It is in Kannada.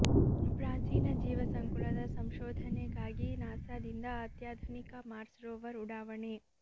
ಪ್ರಾಚೀನ ಜೀವ ಸಂಕುಲದ ಸಂಶೋಧನೆಗಾಗಿ ನಾಸಾದಿಂದ ಅತ್ಯಾಧುನಿಕ ಮಾರ್ಸ್ ರೋವರ್ ಉಡಾವಣೆ